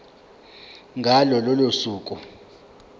ngalo lolo suku